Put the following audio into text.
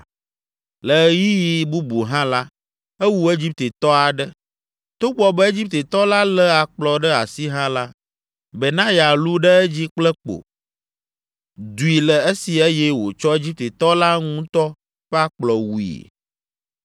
Le ɣeyiɣi bubu hã la, ewu Egiptetɔ aɖe. Togbɔ be Egiptetɔ la lé akplɔ ɖe asi hã la, Benaya lũ ɖe edzi kple kpo, dui le esi eye wòtsɔ Egiptetɔ la ŋutɔ ƒe akplɔ wui.